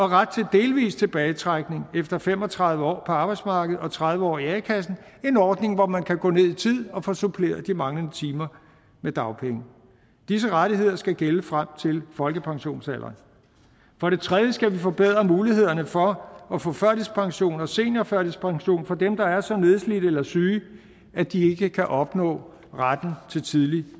ret til delvis tilbagetrækning efter fem og tredive år på arbejdsmarkedet og tredive år i a kassen en ordning hvor man kan gå ned i tid og få suppleret de manglende timer med dagpenge disse rettigheder skal gælde frem til folkepensionsalderen for det tredje skal vi forbedre mulighederne for at få førtidspension og seniorførtidspension for dem der er så nedslidte eller syge at de ikke kan opnå retten til tidlig